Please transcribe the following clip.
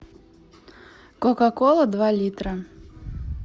кока кола два литра